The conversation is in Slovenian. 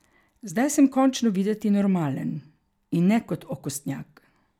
Zdaj sem končno videti normalen, in ne kot okostnjak.